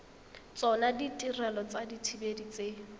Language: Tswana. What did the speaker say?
tsona ditirelo tsa dithibedi tse